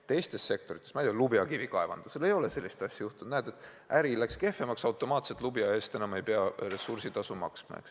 Teistes sektorites, näiteks lubajakivi kaevandamisel ei ole sellist asja juhtunud, et näed, äri läks kehvemaks ja automaatselt ei pea lubja eest enam ressursitasu maksma.